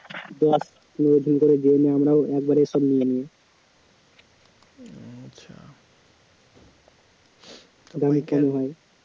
আমরাও একবারে সব নিয়ে নিই দৈনিক কিনা হয়